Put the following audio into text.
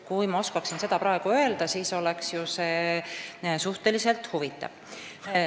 Kui ma oskaksin seda praegu öelda, oleks see küll suhteliselt huvitav.